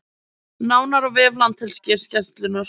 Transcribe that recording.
Nánar á vef Landhelgisgæslunnar